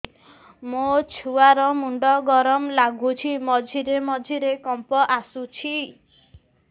ମୋ ଛୁଆ ର ମୁଣ୍ଡ ଗରମ ଲାଗୁଚି ମଝିରେ ମଝିରେ କମ୍ପ ଆସୁଛି